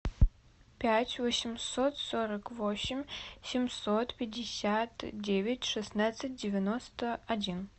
пять восемьсот сорок восемь семьсот пятьдесят девять шестнадцать девяносто один